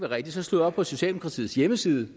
rigtigt så slog jeg op på socialdemokratiets hjemmeside